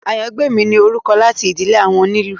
Àyàngbèmí ni orúkọ láti ìdílé àwọn onílù